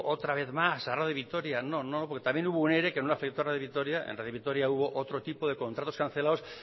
otra vez más a radio vitoria no no porque también hubo un ere que no le afectó a radio vitoria en radio vitoria hubo otro tipo de contratos cancelados